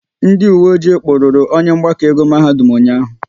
Ndị uwe ọjị kpụrụru onye mgbakọ ego mahadum ụnyaahụ